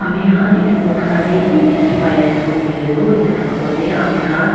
amikhan edu noksa tae kidikhi paiase koilae tu edu photo tae amikhan.